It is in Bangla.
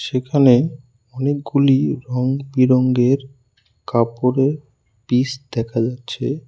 সেখানে অনেকগুলি রঙবিরঙের কাপড়ের পিস দেখা যাচ্ছে।